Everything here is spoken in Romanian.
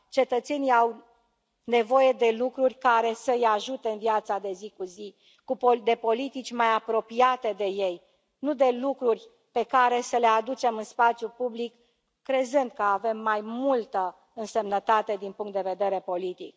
Cetățenii au nevoie de lucruri care să i ajute în viața de zi cu zi, de politici mai apropiate de ei, nu de lucruri pe care să le aducem în spațiul public, crezând că avem mai multă însemnătate din punct de vedere politic.